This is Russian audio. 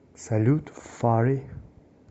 салют фарри